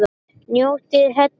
Njótið heil.